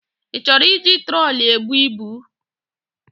Ị chọrọ iji troli ebu ibu?